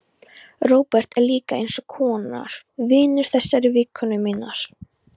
Róbert er líka eins konar vinur þessarar vinkonu minnar.